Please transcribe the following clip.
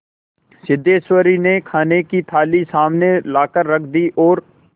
सिद्धेश्वरी ने खाने की थाली सामने लाकर रख दी और